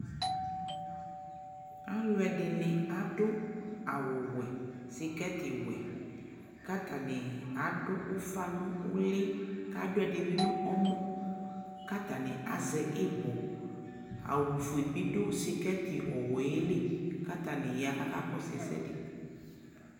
Aluɛ dini adu awu wɛ, skɛti wɛ, katani adu ufanu uliAdu ɛdini bi ɔmɔ, katani azɛ ibɔAwu fue bi du sikɛti ɔwɛ li Katani ya kaka kɔsu ɛkuɛdi